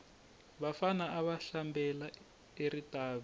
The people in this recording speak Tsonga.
vafana ava hlambela eritavi